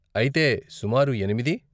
అయితే, సుమారు ఎనిమిది?